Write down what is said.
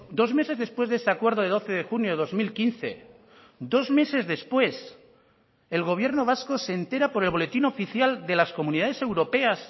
dos meses después de ese acuerdo de doce de junio de dos mil quince dos meses después el gobierno vasco se entera por el boletín oficial de las comunidades europeas